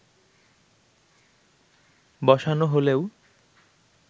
বসানো হলেও